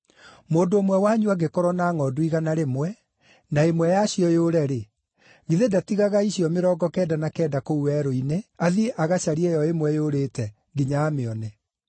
“Mũndũ ũmwe wanyu angĩkorwo na ngʼondu igana rĩmwe, na ĩmwe yacio yũre-rĩ, githĩ ndatigaga icio mĩrongo kenda na kenda kũu werũ-inĩ, athiĩ agacarie ĩyo ĩmwe yũrĩte, nginya amĩone?